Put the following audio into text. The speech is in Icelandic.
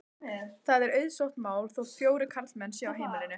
Það er auðsótt mál þótt fjórir karlmenn séu á heimilinu.